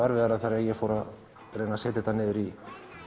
þegar ég fór að setja þetta í